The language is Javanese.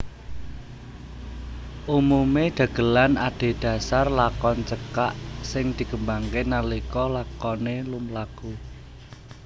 Umumé dagelan adhedhasar lakon cekak sing dikembangké nalika lakoné lumlaku